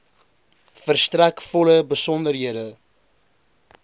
verstrek volle besonderhede